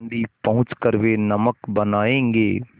दाँडी पहुँच कर वे नमक बनायेंगे